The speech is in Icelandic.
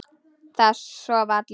Það sofa allir.